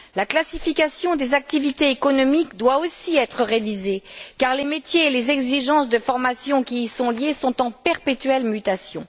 La classification des activités économiques doit aussi être révisée car les métiers et les exigences de formation qui y sont liées sont en perpétuelle mutation.